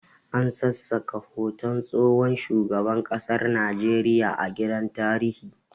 An sassaka hoton tsohon shugaban kasar Najeriya a gidan tarihi